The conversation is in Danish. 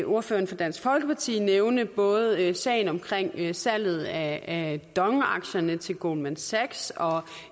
ordføreren fra dansk folkeparti nævne både sagen om salget salget af dong aktierne til goldman sachs og